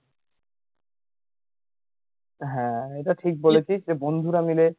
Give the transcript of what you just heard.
হ্যা এটা ঠিক বলেছিস যে বন্ধুরা মিলে